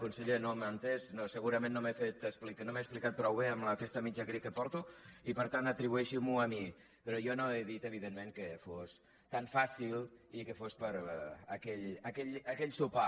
conseller no m’ha entès no segurament no m’he explicat prou bé amb aquesta mitja grip que porto i per tant atribueixi m’ho a mi però jo no he dit evidentment que fos tan fàcil i que fos per aquell sopar